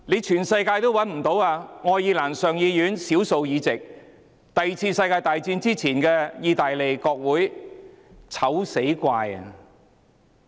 全世界也找不到的，除了愛爾蘭上議院少數議席和第二次世界大戰之前的意大利國會。